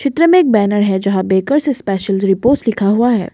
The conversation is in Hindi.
चित्र मे एक बैनर है जहां बेकर्स स्पेशल रिपोज़ लिखा हुआ है।